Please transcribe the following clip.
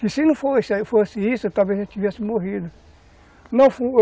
Que se não fosse isso, talvez a gente tivesse morrido.